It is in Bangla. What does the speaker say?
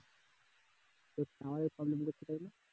তোর tower problem কোথায় রে